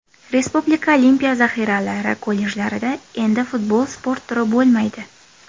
Respublika Olimpiya zaxiralari kollejlarida endi futbol sport turi bo‘lmaydi.